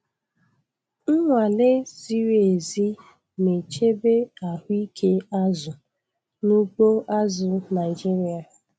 Nnwale ziri ezi na-echebe ahụike azụ n'ugbo azụ̀ Naịjiria.